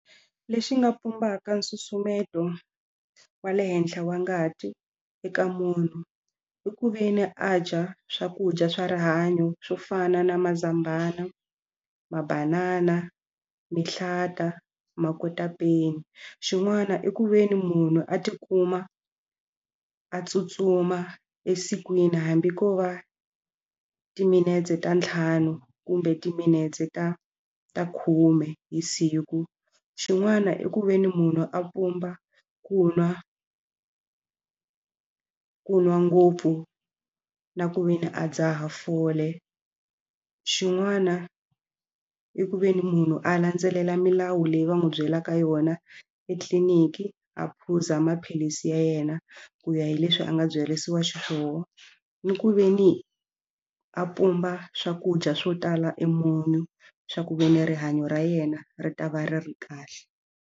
Lexi nga pumbaka nsusumeto wa le henhla wa ngati eka munhu i ku ve ni a dya swakudya swa rihanyo swo fana na mazambhana, mabanana, mihlata, makotapeni xin'wana i ku ve ni munhu a tikuma a tsutsuma esikwini hambi ko va timinetse ta ntlhanu kumbe timinetse ta ta khume hi siku xin'wana i ku ve ni munhu a pumba ku nwa ku nwa ngopfu na ku ve ni a dzaha fole xin'wana i ku ve ni munhu a landzelela milawu leyi va n'wi byelaka yona etliliniki a phuza maphilisi ya yena ku ya hi leswi a nga byerisiwa xiswona ni ku ve ni a pumba swakudya swo tala e munyu swa ku ve ni rihanyo ra yena ri ta va ri ri kahle.